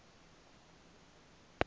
shayandima